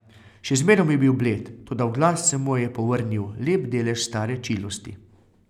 Še zmerom je bil bled, toda v glas se mu je povrnil lep delež stare čilosti.